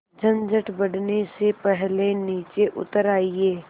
झंझट बढ़ने से पहले नीचे उतर आइए